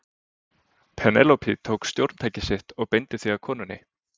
Penélope tók stjórntækið sitt og beindi því að konunni.